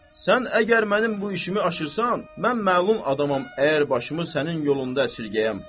Sən əgər mənim bu işimi aşırsan, mən məlum adamam, əgər başımı sənin yolunda əsirgəyəm.